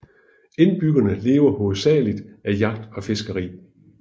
Indbyggerne lever hovedsageligt af jagt og fiskeri